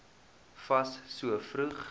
fas so vroeg